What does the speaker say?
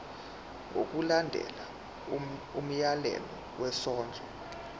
ngokulandela umyalelo wesondlo